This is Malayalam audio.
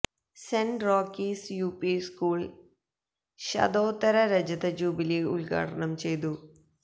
saint Rockies U P school ശതോത്തര രജത ജൂബിലി ഉദ്ഘാടനം ചെയ്തു